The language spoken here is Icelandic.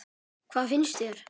Hvað fannst þér?